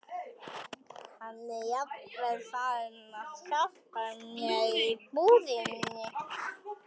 Hann er jafnvel farinn að hjálpa mér í búðinni.